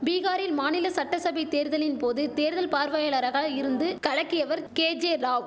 பீகாரில் மாநில சட்டசபை தேர்தலின் போது தேர்தல் பார்வையாளராக இருந்து கலக்கியவர் கேஜேராவ்